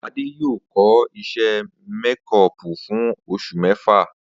Adé yóò kó̩ is̩é̩ méko̩ò̩pù fún os̩ù mé̩fà